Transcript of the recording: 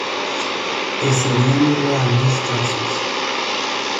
Eseriani loannis Chapsos.